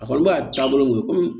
A kɔni b'a taabolo ŋɛɲɛn